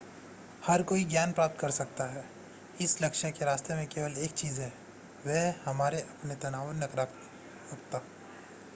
हर कोई ज्ञान प्राप्त कर सकता है इस लक्ष्य के रास्ते में केवल एक चीज़ है वह है हमारा अपने तनाव और नकारात्मकता